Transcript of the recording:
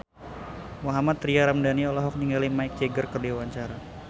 Mohammad Tria Ramadhani olohok ningali Mick Jagger keur diwawancara